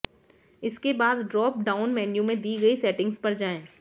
इसके बाद drop down menu में दी गई सेटिंग्स पर जाएं